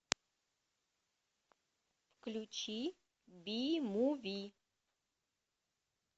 включи би муви